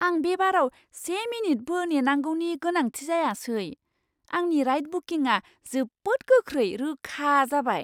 आं बे बाराव से मिनिटबो नेनांगौनि गोनांथि जायासै। आंनि राइड बुकिंआ जोबोद गोख्रै रोखा जाबाय!